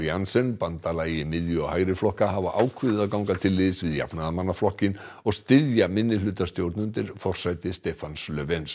Alliansen bandalagi miðju og hægri flokka hafa ákveðið að ganga til liðs við jafnaðarmannaflokkinn og styðja minnihlutastjórn undir forsæti Stefans